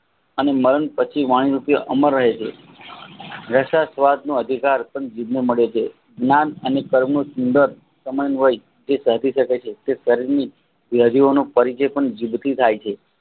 અને મરણ પછી વાણી રુપે અમર રહે છે રસ સ્વાદનો અનુભવ પણ જીભને મળે છે જ્ઞાન અને પરમસિદ્ધ સમય હોય તે સતી સળકે છે યાદિઓનું પરિચ્છિતં જીભથી થાય છે